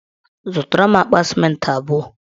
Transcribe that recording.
Zụtara m akpa sịmentị abụọ.